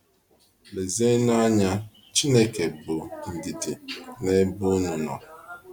Lezienụ anya, Chineke bụ ndidi n’ebe unu nọ